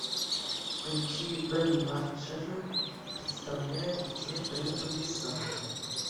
включи бэм марджера представляет где гребаный санта